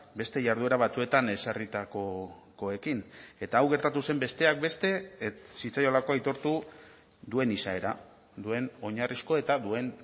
beste jarduera batzuetan ezarritakoekin eta hau gertatu zen besteak beste ez zitzaiolako aitortu duen izaera duen oinarrizko eta duen